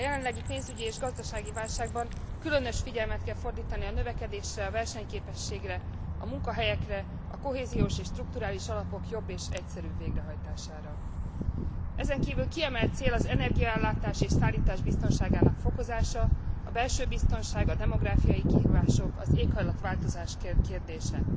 A jelenlegi pénzügyi és gazdasági válságban különös figyelmet kell fordítani a növekedésre, a versenyképességre, a munkahelyekre, a kohéziós és strukturális alapok jobb és egyszerűbb végrehajtására. Ezen kívül kiemelt cél az energiaellátás és szállítás biztonságának fokozása, a belső biztonság, a demográfiai kihívások, az éghajlatváltozás kérdése.